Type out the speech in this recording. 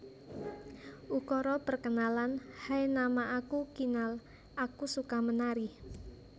Ukara Perkenalan Hai nama aku Kinal aku suka menari